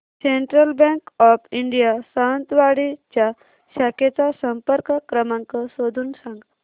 central bank of India Sawantwadi च्या शाखेचा संपर्क क्रमांक शोधून सांग